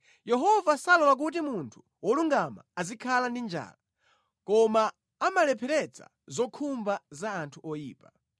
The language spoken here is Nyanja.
Yehova salola kuti munthu wolungama azikhala ndi njala; koma amalepheretsa zokhumba za anthu oyipa.